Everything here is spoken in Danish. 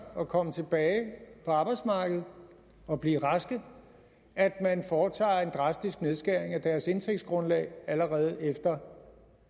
at komme tilbage på arbejdsmarkedet og blive raske at man foretager en drastisk nedskæring af deres indtægtsgrundlag allerede efter